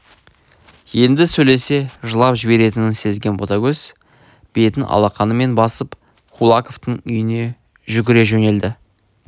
енді сөйлесе жылап жіберетінін сезген ботагөз бетін алақанымен басып кулаковтың үйіне жүгіре жөнелді